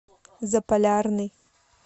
заполярный